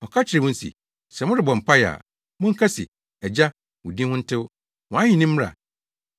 Ɔka kyerɛɛ wɔn se, “Sɛ morebɔ mpae a, monka se, “‘Agya, wo din ho ntew, wʼahenni mmra.